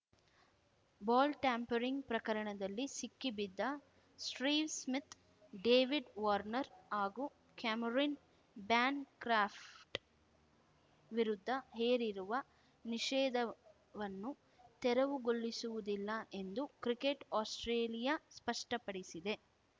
ball tampering ಪ್ರಕರಣದಲ್ಲಿ ಸಿಕ್ಕಿಬಿದ್ದ Steve Smith David Warner ಹಾಗೂ ಕ್ಯಾಮರಿನ್‌ ಬ್ಯಾನ್‌ಕ್ರಾಫ್ಟ್‌ವಿರುದ್ಧ ಹೇರಿರುವ ನಿಷೇಧವನ್ನು ತೆರವುಗೊಳಿಸುವುದಿಲ್ಲ ಎಂದು ಕ್ರಿಕೆಟ್‌ ಆಸ್ಪ್ರೇಲಿಯಾ ಸ್ಪಷ್ಟಪಡಿಸಿದೆ